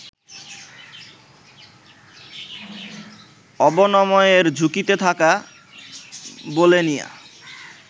অবনমনের ঝুঁকিতে থাকা বোলেনিয়া